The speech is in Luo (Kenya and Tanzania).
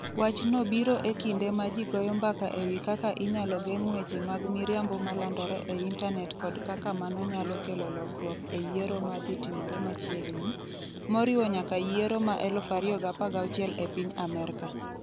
Wachno biro e kinde ma ji goyo mbaka e wi kaka inyalo geng' weche mag miriambo ma landore e intanet kod kaka mano nyalo kelo lokruok e yiero ma dhi timore machiegni, moriwo nyaka yiero ma 2016 e piny Amerka.